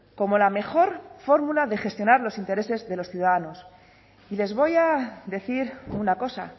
como la mejor fórmula de gestionar los intereses de los ciudadanos y les voy a decir una cosa